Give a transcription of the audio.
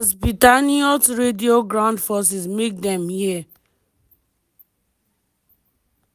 di tatzpitaniyot radio ground forces make dem hear.